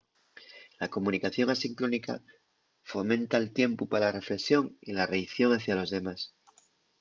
la comunicación asincrónica fomenta’l tiempu pa la reflexón y la reaición hacia los demás